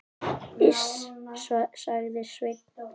Iss, sagði Sveinn.